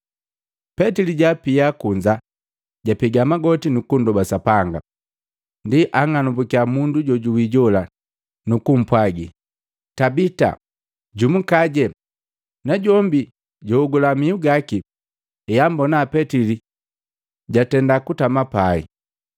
Petili jaapia boka kunza, japega magoti, nukundoba Sapanga. Ndi anng'anambukiya mundu jojuwi jola, nukupwagi, “Tabita, jumukaje.” Najombi jwaogula mihu gaki, heambona Petili jatenda kutama pai.